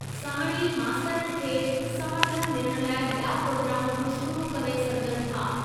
साणु ई मास्तरनि खे समर्थनु ॾियण लाइ ॿिया प्रोग्राम बि शुरू करे सघिजनि था।